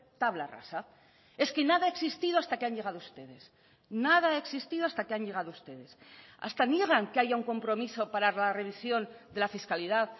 tabla rasa es que nada ha existido hasta que han llegado ustedes nada ha existido hasta que han llegado ustedes hasta niegan que haya un compromiso para la revisión de la fiscalidad